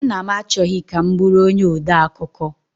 Nna m achọghị ka m bụrụ onye ode akụkọ.